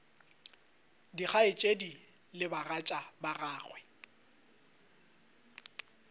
dikgaetšedi le bagatša ba gagwe